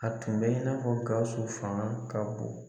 A tun bɛ i n'a fɔ GAWUSU fana ka bon.